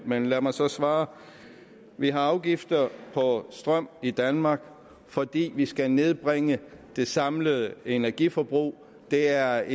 men lad mig så svare vi har afgifter på strøm i danmark fordi vi skal nedbringe det samlede energiforbrug det er